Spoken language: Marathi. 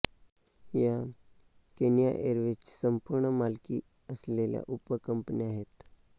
या केनिया एअरवेज ची संपूर्ण मालकी असलेल्या उपकंपन्या आहेत